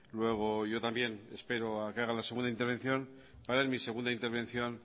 luego yo también espero a que haga la segunda intervención para en mi segunda intervención